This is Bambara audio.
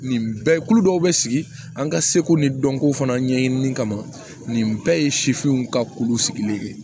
Nin bɛɛ kulu dɔw bɛ sigi an ka seko ni dɔnko fana ɲɛɲini kama nin bɛɛ ye sifinw ka kulu sigilen ye